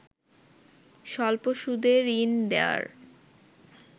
স্বল্প সুদে ঋণ দেয়ার